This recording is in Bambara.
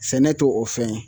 Sɛnɛ t'o o fɛn ye.